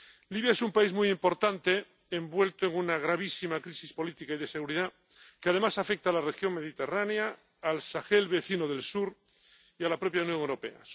Libia es un país muy importante envuelto en una gravísima crisis política y de seguridad que, además, afecta a la región mediterránea, al Sahel —vecino del sur— y a la propia Unión Europea.